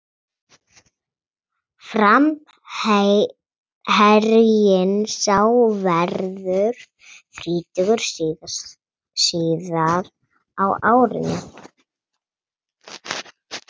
Framherjinn sá verður þrítugur síðar á árinu.